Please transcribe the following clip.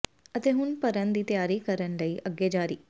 ਅਤੇ ਹੁਣ ਭਰਨ ਦੀ ਤਿਆਰੀ ਕਰਨ ਲਈ ਅੱਗੇ ਜਾਰੀ